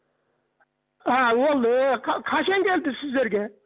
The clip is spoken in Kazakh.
ааа ол е қашан келді сіздерге